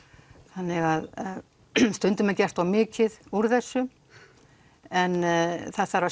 þannig að stundum er gert of mikið úr þessu en það þarf að